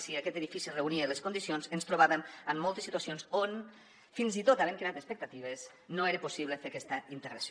si aquest edifici reunia les condicions ens trobàvem amb moltes situacions on fins i tot havent creat expectatives no era possible fer aquesta integració